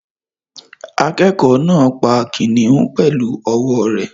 Akẹ́kọ̀ọ́ náà pa kìnnìún pẹ̀lú ọwọ́ rẹ̀